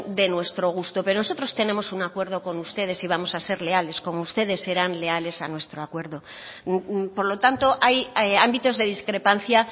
de nuestro gusto pero nosotros tenemos un acuerdo con ustedes y vamos a ser leales como ustedes eran leales a nuestro acuerdo por lo tanto hay ámbitos de discrepancia